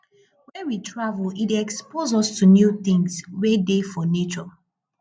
when we travel e dey expose us to new things wey dey for nature